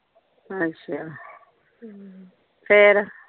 ਅੱਛਾ ਹਮ ਫੇਰ।